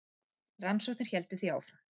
Rannsóknir héldu því áfram.